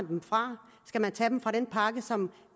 dem fra skal man tage dem fra den pakke som